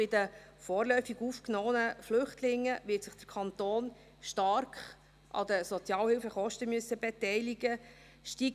Bei den vorläufig aufgenommenen Flüchtlingen wird sich der Kanton stark an den Sozialhilfekosten beteiligen müssen.